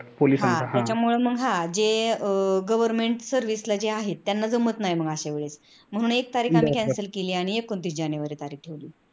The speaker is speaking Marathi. त्यामुळे मंग हा जे government service ला जे आहेत त्यांना जमत नाही अश्या वेळेस म्हणून एक तारीख cancel केली आणि त्याच एकोणतीस जानेवारी तारीख ठेवली